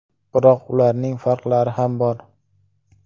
Biroq ularning farqlari ham bor.